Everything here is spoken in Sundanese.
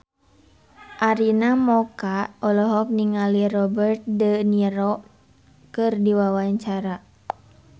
Arina Mocca olohok ningali Robert de Niro keur diwawancara